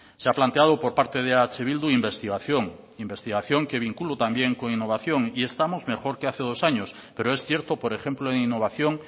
se ha planteado por parte de eh bildu investigación investigación que vinculo también con innovación y estamos mejor que hace dos años pero es cierto por ejemplo en innovación